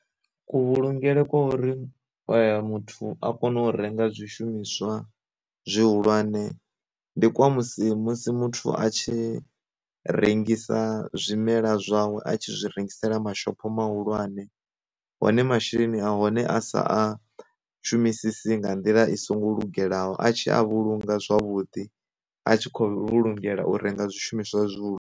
Ku vhulungelwe kwa uri muthu a kone u renga zwi shumiswa zwi hulwane, ndi kwa musi musi muthu a tshi rengisa zwimela zwawe a tshi zwi rengisela mashopho mahulwane, hone masheleni a hone a sa a shumisi nga nḓila i songo lungelaho a tshi a vhulunga zwavhuḓi a tshi khou vhulungela u renga zwi shumiswa zwihulu.